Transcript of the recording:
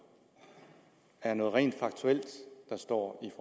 er noget rent faktuelt der står i